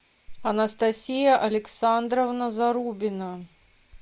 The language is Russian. анастасия александровна зарубина